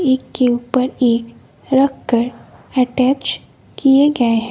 एक के ऊपर एक रखकर अटैच किए गए--